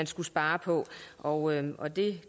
skulle spares og og det